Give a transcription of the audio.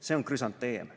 "See on krüsanteem.